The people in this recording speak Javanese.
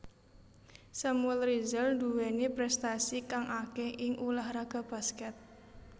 Samuel Rizal nduwéni prestasi kang akéh ing ulah raga baskèt